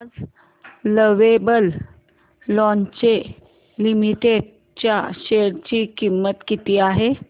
आज lovable lingerie limited च्या share ची किंमत किती आहे